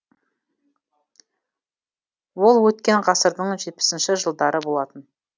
ол өткен ғасырдың жетпісінші жылдары болатын